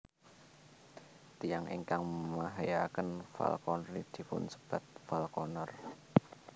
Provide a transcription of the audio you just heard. Tiyang ingkang mahyakaken falconry dipunsebat falconer